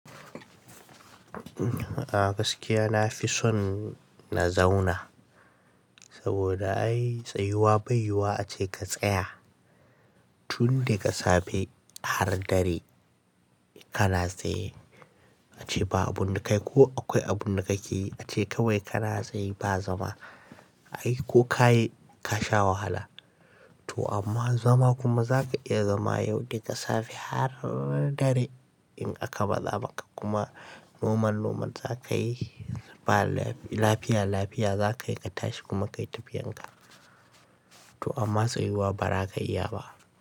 A gaskiya na fi son na zauna, saboda ai tsayuwa bai yi wa ace ka tsaya tun daga safe har dare kana tsaye. Ace ba abu da kai ko akwai abunda kake yi ace kawai kana tsaye ba zama. Ai ko ka yi ka sha wahala to amma zama kuma zaka iya zama yau daga safe har dare in aka ba zaɓa kuma noman noman za ka yi ba lafiya lafiya za ka yi ka tashi kuma ka yi tafiyan ka. To amma tsayuwa ba za ka iya ba.